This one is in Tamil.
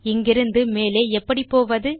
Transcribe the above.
இங்கிருந்து மேலே எப்படி போவது